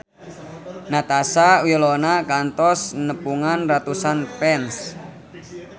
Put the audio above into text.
Natasha Wilona kantos nepungan ratusan fans